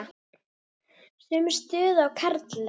Sömu stöðu og karlar.